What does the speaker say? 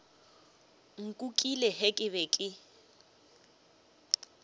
nkukile ge ke be ke